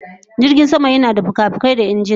Jirgin sama yana da fikafikai da injuna